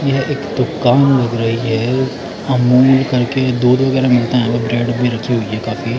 यह एक दुकान लग रही है अमूल करके दूध वगैरह मिलता है यहां पे ब्रेड भी रखी हुई है काफी।